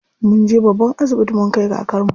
Munje babban asibiti mun kai kakarmu.